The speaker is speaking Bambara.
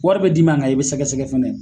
Wari bɛ d' i ma kan i bɛ sɛgɛsɛgɛ fɛnɛ dɛ.